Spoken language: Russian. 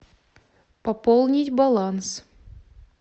пополнить баланс